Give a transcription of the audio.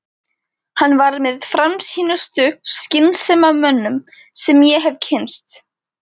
Hann var með framsýnustu skynsemdarmönnum sem ég hef kynnst.